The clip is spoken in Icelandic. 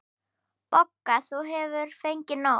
BOGGA: Þú hefur fengið nóg.